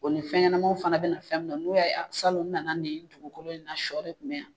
O ni fɛnɲɛnɛmaw fana bɛna fɛn mun na n'u y a ye a salɔn n nana nin dugukolo in na shɔ de kun bɛ yan.